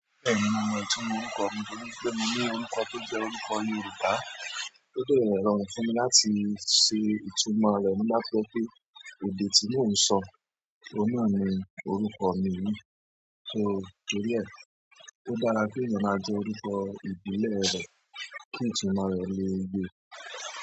Bẹ́ẹ̀ni mo mọ ìtumọ̀ orúkọ mi nítorí pé mo ní orúkọ tó jẹ́ orúkọ Yorùbá, ó dẹ̀ rọrùn fún mi láti ṣe ìtumọ̀ rẹ̀ nígbà tó jẹ́ pé èdè tí mò ń sọ, òun náà ni orúkọ mi yìí, so torí ẹ̀. Ó dára kéèyàn máa jẹ́ orúkọ ìbílẹ̀ rẹ̀ kí ìtumọ̀ rẹ̀ le yée.